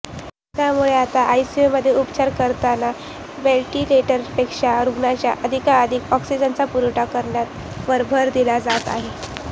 त्यामुळे आता आयसीयूमध्ये उपचार करताना व्हेंटिलेटरपेक्षा रुग्णांना अधिकाधिक ऑक्सिजनचा पुरवठा करण्यावर भर दिला जात आहे